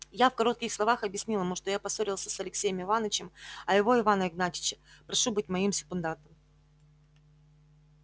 я в коротких словах объяснил ему что я поссорился с алексеем иванычем а его ивана игнатьича прошу быть моим секундантом